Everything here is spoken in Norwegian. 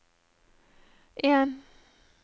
en